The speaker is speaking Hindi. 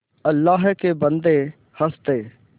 अल्लाह के बन्दे हंस दे